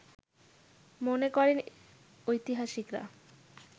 মনে করেন ঐতিহাসিকরা